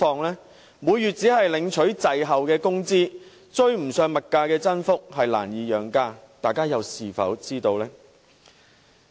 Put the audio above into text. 他們每月只領取滯後的工資，追不上物價增幅，難似養家，大家又是否知道呢？